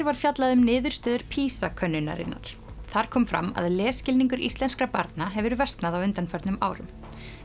var fjallað um niðurstöður PISA könnunarinnar þar kom fram að lesskilningur íslenskra barna hefur versnað á undanförnum árum